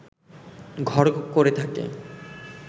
ঘর করে থাকে